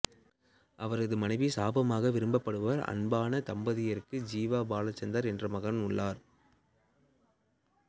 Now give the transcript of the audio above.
அவரது மனைவி சமமாக விரும்பப்படுபவர் அன்பான தம்பதியருக்கு ஜீவா பாலச்சந்தர் என்ற மகன் உள்ளார்